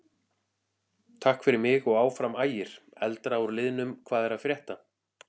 Takk fyrir mig og Áfram Ægir.Eldra úr liðnum Hvað er að frétta?